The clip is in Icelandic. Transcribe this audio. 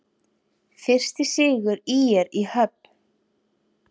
Fyrsti sigur ÍR í höfn